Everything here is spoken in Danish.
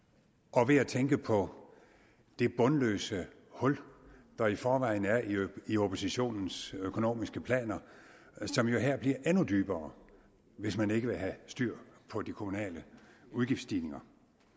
og ved at tænke på det bundløse hul der i forvejen er i i oppositionens økonomiske planer som jo her bliver endnu dybere hvis man ikke vil have styr på de kommunale udgiftsstigninger